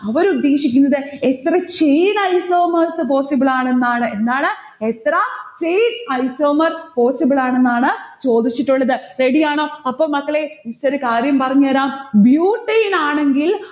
അവർ ഉദ്ദേശിക്കുന്നത് എത്ര chain isomers possible ആണെന്നാണ്. എന്താണ്? എത്ര chain isomers possible ആണെന്നാണ് ചോദിച്ചിട്ടുള്ളത്. ready ആണോ? അപ്പൊ മക്കളെ, miss ഒരു കാര്യം പറഞ്ഞേരാം. butane ആണെങ്കിൽ